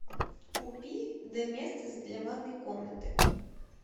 купи доместос для ванной комнаты